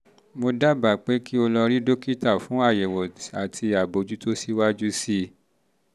mo dábàá pé kí o lọ rí dókítà fún àyẹ̀wò àti àbójútó síwájú sí i